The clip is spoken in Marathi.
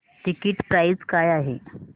टिकीट प्राइस काय आहे